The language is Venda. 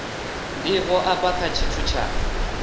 ndivho afha kha tshithu tsha